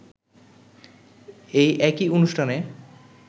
এই একই অনুষ্ঠানে